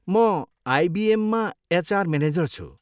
म आइबिएममा HR manager छु।